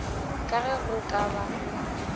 ka ge go ka ba